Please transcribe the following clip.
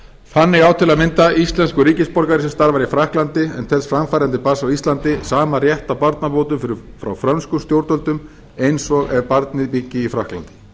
þannig á til að mynda íslenskur ríkisborgari sem starfar í frakklandi en telst framfærandi barns á íslandi sama rétt á barnabótum frá frönskum stjórnvöldum eins og ef barnið byggi í frakklandi